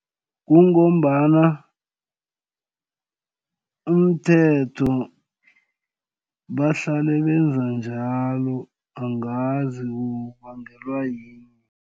Kungombana, umthetho bahlale benza njalo angazi kubangelwa yini.